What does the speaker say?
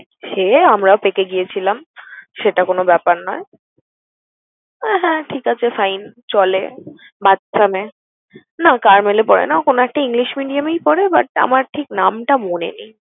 সে আমরাও পেকে গিয়েছিলাম, সেটা কোন ব্যাপার নয়। আহ হ্যাঁ ঠিক আছে fine, চলে বাচ্চা মেয়ে। না ও Carmel এ পড়ে না, কোন একটা English medium এই পড়ে, but আমার ঠিক নামটা মনে নেই।